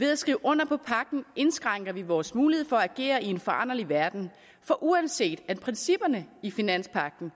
ved at skrive under på pagten indskrænker vi vores mulighed for at agere i en foranderlig verden for uanset at principperne i finanspagten